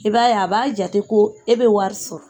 I b'a ye a b'a jate ko e bɛ wari sɔrɔ.